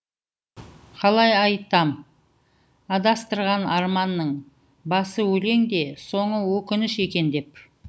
қалай айтам адастырған арманның басы өлең де соңы өкініш екен деп